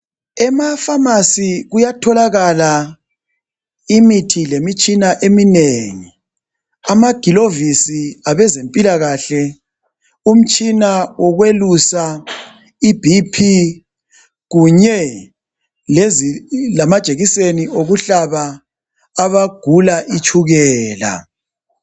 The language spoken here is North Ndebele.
Emaphamarcy kuyatholakala imithi lemitshina eminengi amagilovisi abezempilakahle umitshina wokwelusa iBp kunye lamajekiseni okuhlaba abagula itshukela